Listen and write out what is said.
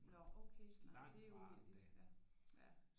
Nå okay ja det er uheldigt ja ja